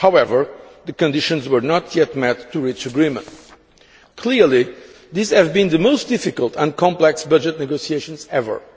However, the conditions were not yet met to reach agreement. Clearly, these have been the most difficult and complex budget negotiations ever.